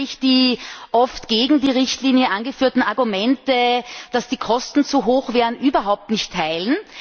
Ich kann nämlich die oft gegen die Richtlinie angeführten Argumente, dass die Kosten zu hoch wären, überhaupt nicht teilen.